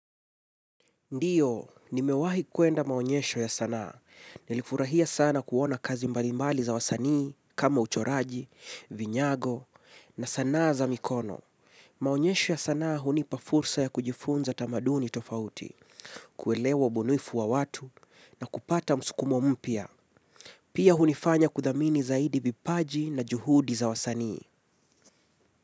Ndio, nimewahi kwenda maonyesho ya sanaa. Nilifurahia sana kuona kazi mbalimbali za wasanii kama uchoraji, vinyago, na sana za mikono. Maonyesho ya sanaa hunipa fursa ya kujifunza tamaduni tofauti, kuelewa ubunuifu wa watu, na kupata msukumo mpya. Pia hunifanya kuthamini zaidi vipaji na juhudi za wasanii.